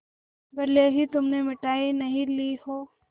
भले ही तुमने मिठाई नहीं ली हो